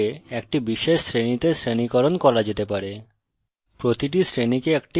এবং সকল অবজেক্টকে একটি বিশেষ শ্রেণীতে শ্রেণীকরণ করা যেতে পারে